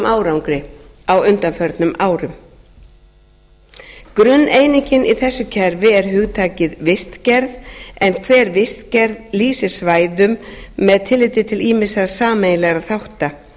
árangri á undanförnum árum grunneiningin í þessu kerfi er hugtakið vistgerð en hver vistgerð lýsir svæðum með tilliti til ýmissa sameiginlegra þátta